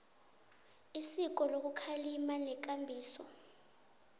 isiko lokukhalima nekambiso